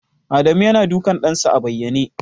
Adamu yana dukan ɗansa a bayyane.